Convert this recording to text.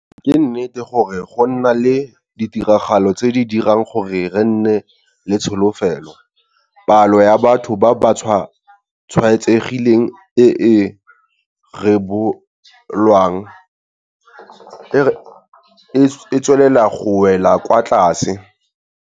Ee ke nnete gore go na le ditiragalo tse di dirang gore re nne le tsholofelo. Palo ya batho ba ba tshwaetsegileng e e rebolwang e tswelela go wela kwa tlase.